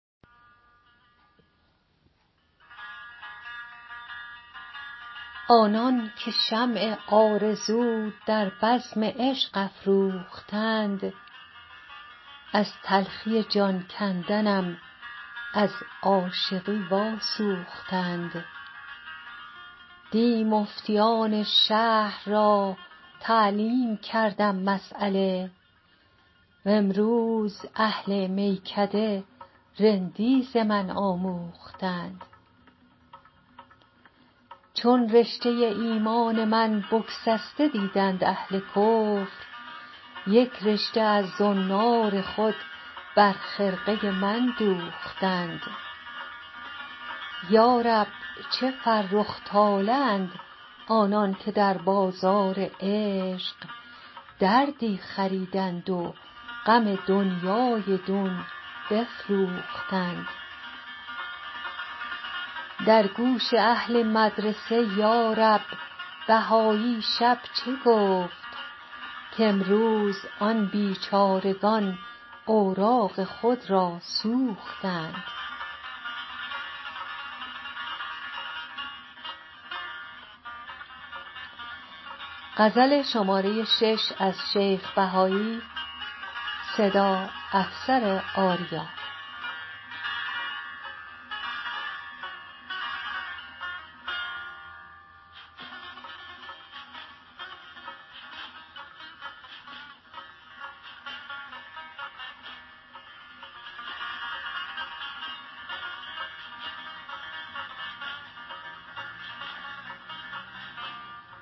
آنانکه شمع آرزو در بزم عشق افروختند از تلخی جان کندنم از عاشقی واسوختند دی مفتیان شهر را تعلیم کردم مسیله و امروز اهل میکده رندی ز من آموختند چون رشته ایمان من بگسسته دیدند اهل کفر یک رشته از زنار خود بر خرقه من دوختند یارب چه فرخ طالعند آنانکه در بازار عشق دردی خریدند و غم دنیای دون بفروختند در گوش اهل مدرسه یارب بهایی شب چه گفت کامروز آن بیچارگان اوراق خود را سوختند